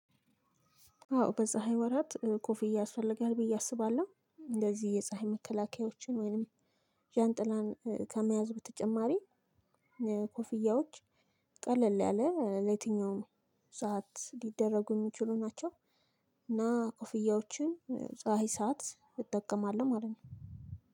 አዎ በፀሀይ ወራት ኮፊ ያስፈለጋለሁ ብዬ አስባለሁ። እንደዚህ የፀሀይ መከላከያዎችን ወይንም ዣንጥላን ከመያዝ በተጨማሪ ኮፍያዎች ቀለል ያለ ለየትኛውም ሰዓት ሊደረጉ የሚችሉ ናቸው። እና ኮፍያዎችን ፀሀይ ሰዓት እጠቀማለሁ ማለት ነው።